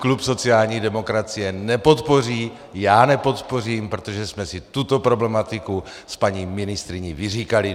Klub sociální demokracie nepodpoří, já nepodpořím, protože jsme si tuto problematiku s paní ministryní vyříkali.